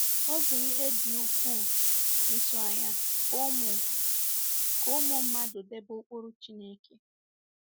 Ọ̀ bụ ihe dị ukwuu ịtụ anya ka ụmụ ka ụmụ mmadụ debe ụkpụrụ Chineke?